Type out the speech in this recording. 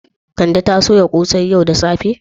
Kande ta soya kosai yau da safe?